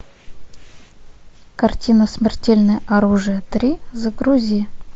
картина смертельное оружие три загрузи